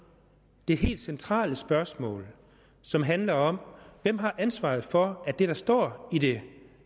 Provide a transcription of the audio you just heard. det helt centrale spørgsmål som handler om hvem der har ansvaret for at det der står i det